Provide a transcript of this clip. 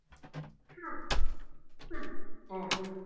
Ha, hvað? sagði amma.